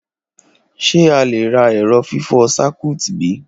Ṣe a le ra ẹrọ fifọ Circuit bi?